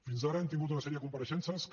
fins ara hem tingut una sèrie de compareixences que